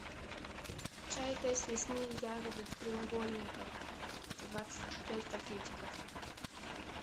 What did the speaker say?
чай тесс лесные ягоды в треугольниках двадцать пять пакетиков